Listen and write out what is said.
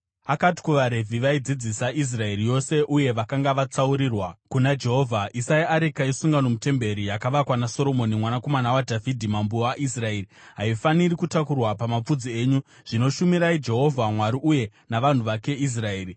Akati kuvaRevhi, vaidzidzisa Israeri yose uye vakanga vakatsaurirwa kuna Jehovha, “Isai areka yesungano mutemberi yakavakwa naSoromoni mwanakomana waDhavhidhi, mambo waIsraeri. Haifaniri kutakurwa pamapfudzi enyu. Zvino shumirai Jehovha Mwari uye navanhu vake Israeri.